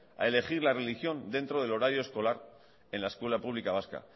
a elegir la religión dentro del horario escolar en la escuela pública vasca